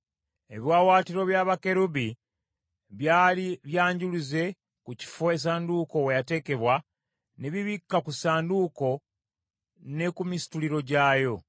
Ebiwaawaatiro bya bakerubi byali byanjuluze ku kifo essanduuko we yateekebwa, ne bibikka ku ssanduuko ne ku misituliro gyayo.